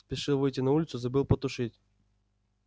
спешил выйти на улицу забыл потушить